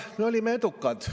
Me olime edukad.